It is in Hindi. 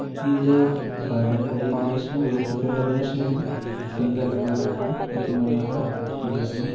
ये जो गार्डन का ही द्रश्य है बोहोत ही प्यारा द्रश्य है सुंदर लग रा है अति मनोहर --